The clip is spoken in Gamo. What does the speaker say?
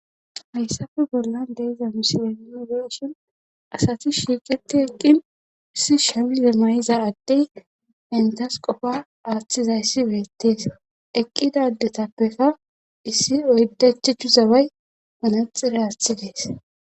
Hayssafe bollan deiza misileninogeshon asati shiiqeti eqqin issi shamize may'iza addey entas qofa aaththizayssi weettees eqqida ddetappeka issi oydachehu zaway panaxire aaththidees.